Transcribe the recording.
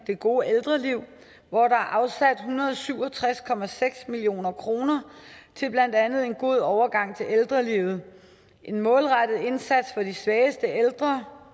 det gode ældreliv hvor der er afsat hundrede og syv og tres million kroner til blandt andet en god overgang til ældrelivet og en målrettet indsats for de svageste ældre